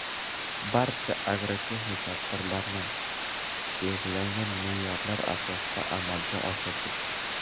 Barcha agrotexnik tadbirlarni belgilangan me’yorlar asosida amalga oshirdik.